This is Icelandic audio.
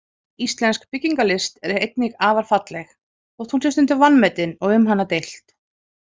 Íslensk byggingarlist er einnig afar falleg, þótt hún sé stundum vanmetin og um hana deilt.